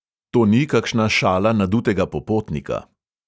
To ni kakšna šala nadutega popotnika.